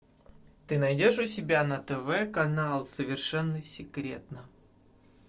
ты найдешь у себя на тв канал совершенно секретно